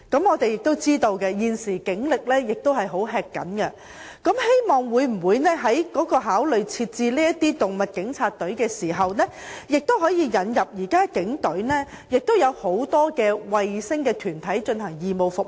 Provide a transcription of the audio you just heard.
我們知道現時警力十分緊張，但我們希望警方考慮成立"動物警察"專隊，並引入現時警隊內很多"衞星團體"提供義務服務。